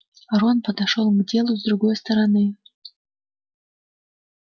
рон подошёл к делу с другой стороны